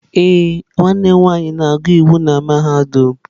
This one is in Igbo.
Ee, nwanne m nwanyị na-agụ iwu n'mahadum.